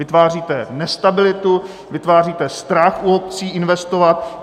Vytváříte nestabilitu, vytváříte strach u obcí investovat.